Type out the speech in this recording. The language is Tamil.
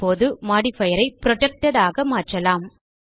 இப்போது மோடிஃபயர் ஐ புரொடெக்டட் ஆக மாற்றலாம்